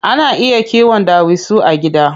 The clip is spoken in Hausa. Ana iya kiwon ɗawisu a gida.